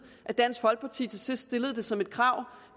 at dansk folkeparti til sidst stillede det som et krav